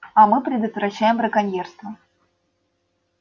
а мы предотвращаем браконьерство